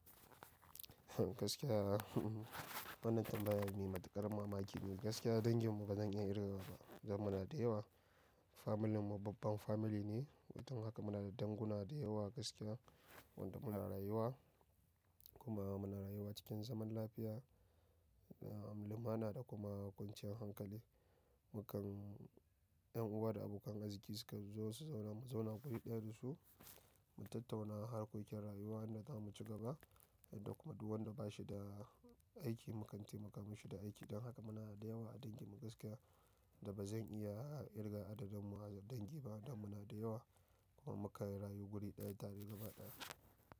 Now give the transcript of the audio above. Gaskiya wannan tambaya mai matuƙar mamaki ne. Gaskiya danginmu ba zan iya kirgawa ba dan muna da yawa. Familin mu babban family ne, don haka muna da danguna da yawa gaskiya wanda muna rayuwa. Kuma muna rayuwa cikin zaman lafiya, da limana da kuma kwanciyar hankali. Mukan yan uwa da abokan arziƙi suka zo su zauna, mu zauna guri daya da su, mu tattauna harkokin rayuwa wanda zamu ci gaba. Yadda kuma duk wanda ba shi da aiki mu kan taimaka mashi da aiki. Don haka muna da yawa a danginmu gaskiya wanda bazan iya kirga adadinmu a dangin ba dan muna da yawa. Kuma mukan rayu guri daya tare gaba daya.